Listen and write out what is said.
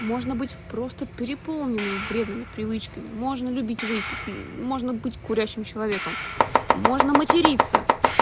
можно быть просто переполненным вредными привычками можно любить выпить можно быть курящим человеком можно материться